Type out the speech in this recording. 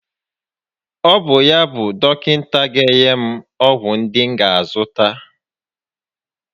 Ọ bụ yá bụ dọkịta ga enye m ọgwụ ndi m ga a zụta?